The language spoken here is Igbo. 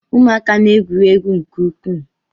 Ụmụaka na-egwuri egwu nke ukwuu